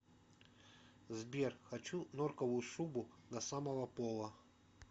сбер хочу норковую шубу до самого пола